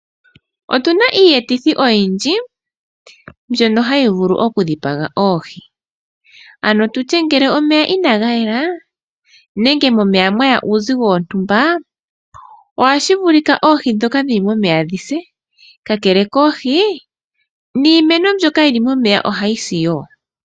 Otuna iiyetithi oyindji mbyono hayi vulu oku dhipaga oohi. Ano tulye ngele omeya inaga yela nenge momeya mwaya uuzigo wontumba ohashi vulika oohi dhoka dhili momeya dhise, ka kele koohi niimeno mbyoka yili momeya ohayi si wo.